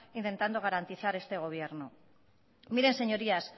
intentando garantizar este gobierno miren señorías